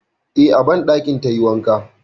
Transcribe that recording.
Eh, a banɗakin tayi wanka.